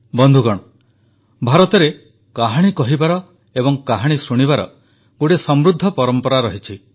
ବନ୍ଧୁଗଣ ଭାରତରେ କାହାଣୀ କହିବାର ଏବଂ କାହାଣୀ ଶୁଣିବାର ଗୋଟିଏ ସମୃଦ୍ଧ ପରମ୍ପରା ରହିଛି